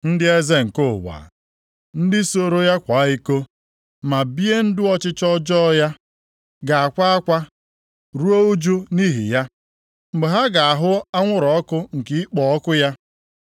“Ndị eze nke ụwa, ndị soro ya kwaa iko, ma bie ndụ ọchịchọ ọjọọ ya, ga-akwa akwa, ruo ụjụ nʼihi ya, mgbe ha ga-ahụ anwụrụ ọkụ nke ịkpọ ọkụ ya.